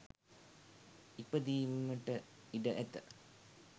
ඉපදීමට ඉඩ ඇත.